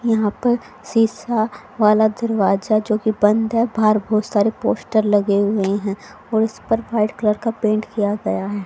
यहां पर शीशा वाला दरवाजा जो कि बंद है बाहर बहोत सारे पोस्टर लगे हुए हैं और उस पर वाइट कलर का पेंट किया गया है।